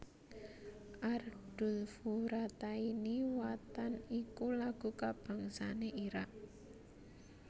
Ardulfurataini Watan iku lagu kabangsané Irak